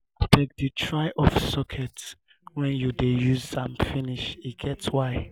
abeg dey um try off socket wen you use am finish e get why.